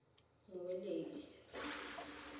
mmueledi